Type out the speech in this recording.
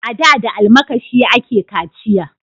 A da da almakashi a ke kaciya